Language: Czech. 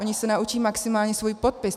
Oni se naučí maximálně svůj podpis.